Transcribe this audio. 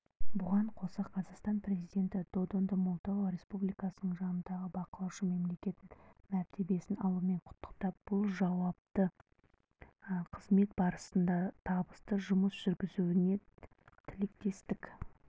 бұған қоса қазақстан президенті додонды молдова республикасының жанындағы бақылаушы мемлекет мәртебесін алуымен құттықтап бұл жауапты қызмет барысында табысты жұмыс жүргізуіне тілектестік